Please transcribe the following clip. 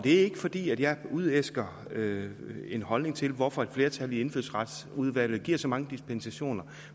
er ikke fordi jeg udæsker en holdning til hvorfor et flertal i indfødsretsudvalget giver så mange dispensationer